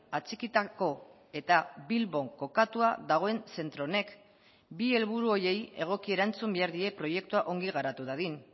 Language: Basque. atxikitako eta bilbon kokatua dagoen zentro honek bi helburu horiei egoki erantzun behar die proiektua ongi garatu dadin